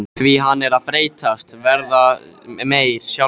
Því hann er að breytast, verða meyr, sjálfur konungurinn.